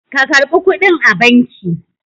ka karɓi kuɗin a banki!